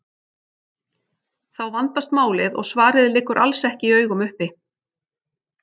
Þá vandast málið og svarið liggur alls ekki í augum uppi.